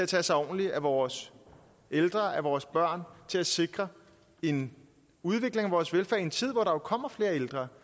tage sig ordentligt af vores ældre af vores børn til at sikre en udvikling af vores velfærd i en tid hvor der jo kommer flere ældre